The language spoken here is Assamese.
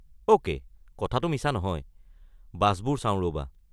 অ’কে', কথাটো মিছা নহয়, বাছবোৰ চাওঁ ৰ’বা।